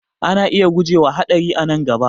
Ana iya guje wa haɗari a nan gaba